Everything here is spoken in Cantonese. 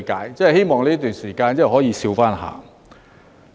我希望這段時間你可重展笑顏。